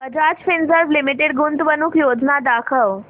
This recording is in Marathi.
बजाज फिंसर्व लिमिटेड गुंतवणूक योजना दाखव